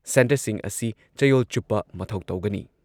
ꯁꯦꯟꯇꯔꯁꯤꯡ ꯑꯁꯤ ꯆꯌꯣꯜ ꯆꯨꯞꯄ ꯃꯊꯧ ꯇꯧꯒꯅꯤ ꯫